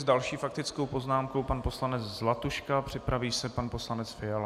S další faktickou poznámkou pan poslanec Zlatuška, připraví se pan poslanec Fiala.